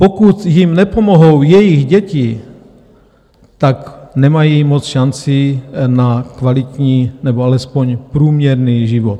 Pokud jim nepomohou jejich děti, tak nemají moc šancí na kvalitní nebo alespoň průměrný život.